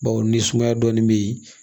Bawo ni sumaya dɔɔnin bɛ yen